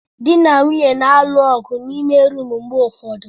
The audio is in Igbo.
Di na nwunye na-alụ ọgụ n'ime rumụ mgbe ụfọdụ.